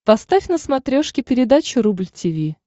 поставь на смотрешке передачу рубль ти ви